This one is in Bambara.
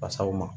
Fasaw ma